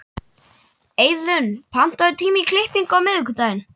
Eiðunn, pantaðu tíma í klippingu á miðvikudaginn.